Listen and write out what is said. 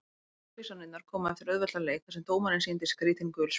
Brottvísanirnar komu eftir auðveldan leik þar sem dómarinn sýndi skrítin gul spjöld.